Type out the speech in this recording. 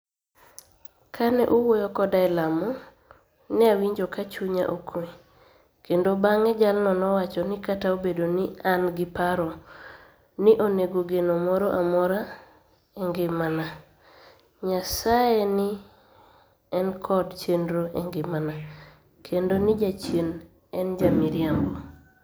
Kani e owuoyo koda e lamo, niawinijo ka chuniya okuwe, kenido banig'e jalno nowacho nii kata obedo nii ni e ani gi paro nii onige geno moro amora e nigimania, niyasaye ni e niikod cheniro e nigimania, kenido nii jachieni eni ja miriambo.